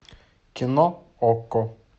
кино окко